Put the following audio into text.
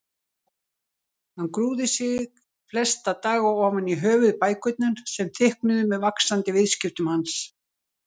Hann grúfði sig flesta daga ofan í höfuðbækurnar sem þykknuðu með vaxandi viðskiptum hans.